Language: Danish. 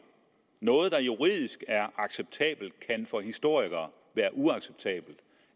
noget der juridisk er acceptabelt kan for historikere være uacceptabelt